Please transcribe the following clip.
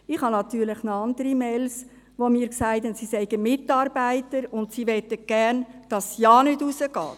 Ich habe natürlich noch andere E-Mails, in denen mir gesagt wurde, sie seien Mitarbeiter und sie möchten gerne, dass es keinesfalls rausgeht.